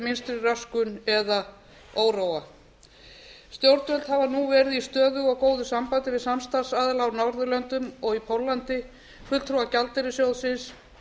minnstri röskun eða óróa stjórnvöld hafa nú verið í stöðugu og góðu samstarfi við samstarfsaðila á norðurlöndum og í póllandi fulltrúa gjaldeyrissjóðsins